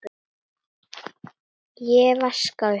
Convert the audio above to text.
Ég vaska upp.